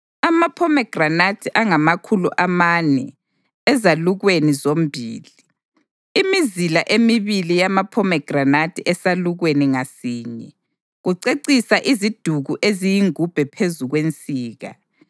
amaphomegranathi angamakhulu amane ezalukweni zombili (imizila emibili yamaphomegranathi esalukweni ngasinye, kucecisa iziduku eziyingubhe phezu kwensika);